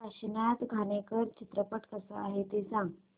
काशीनाथ घाणेकर चित्रपट कसा आहे ते सांग